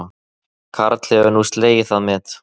Karl hefur nú slegið það met